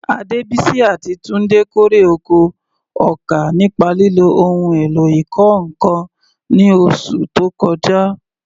Adebisi àti Tunde kórè oko ọkà nípa lílo ohun èlò ìkọ́ nǹkan ní oṣù tó kọjá.